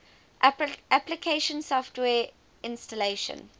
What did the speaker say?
application software installation